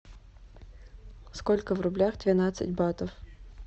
сколько в рублях двенадцать батов